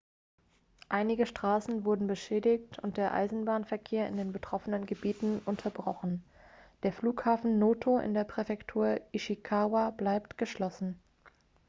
einige straßen wurden beschädigt und der eisenbahnverkehr in den betroffenen gebieten unterbrochen der flughafen noto in der präfektur ishikawa bleibt geschlossen